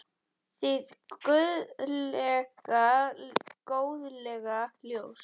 Hið guðlega góðlega ljós.